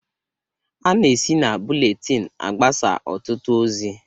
Ana esi na buletin agbasa ọtụtụ ozi.